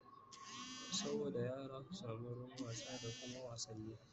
saboda yara su samu wurin wasa da Kuma wasanni